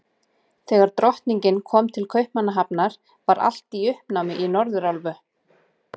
Þegar Drottningin kom til Kaupmannahafnar, var allt í uppnámi í Norðurálfu.